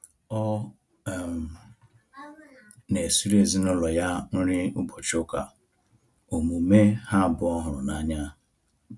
Ọ um na esiri ezinaụlọ ya nri ụbọchị ụka, omume ha abụọ hụrụ n'anya